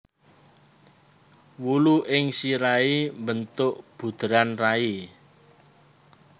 Wulu ing sirahé mbentuk buderan rai